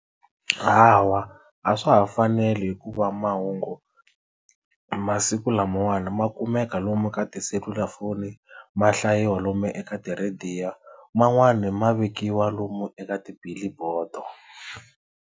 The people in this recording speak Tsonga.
Hawa a swa ha faneli hikuva mahungu masiku lamawani ma kumeka lomu ka tiselulafoni ma hlayiwa lomu eka tirhadiyo man'wani ma vekiwa lomu eka ti-billboard.